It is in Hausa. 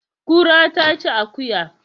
Kura ta ci akuya